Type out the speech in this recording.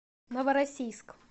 новороссийск